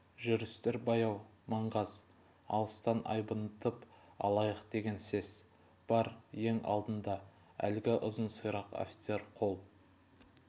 жүрістер баяу маңғаз алыстан айбынтып алайық деген сес бар ең алдында әлгі ұзын сирақ офицер қол